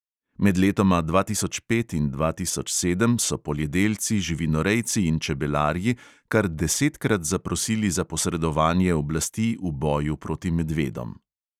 Med letoma dva tisoč pet in dva tisoč sedem so poljedelci, živinorejci in čebelarji kar desetkrat zaprosili za posredovanje oblasti v boju proti medvedom.